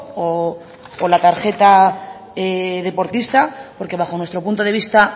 o la tarjeta deportista porque bajo nuestro punto de vista